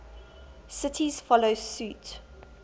cities follow suit